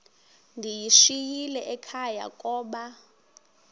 ndiyishiyile ekhaya koba